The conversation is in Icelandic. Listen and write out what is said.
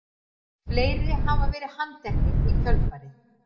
Fleiri hafa verið handteknir í kjölfarið